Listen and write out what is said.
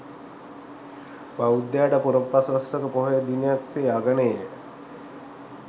බෞද්ධයාට පුරපසළොස්වක පොහොය දිනයක් සේ අගනේය.